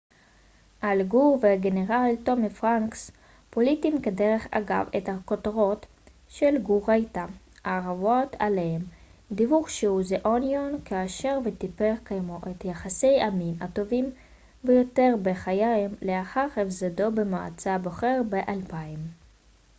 אל גור והגנרל טומי פרנקס פולטים כדרך אגב את הכותרות האהובות עליהם של גור היתה כאשר the onion דיווח שהוא וטיפר קיימו את יחסי המין הטובים ביותר בחייהם לאחר הפסדו במועצה הבוחרת ב-2000